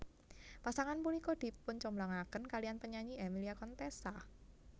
Pasangan punika dipuncomblangaken kaliyan penyanyi Emilia Contessa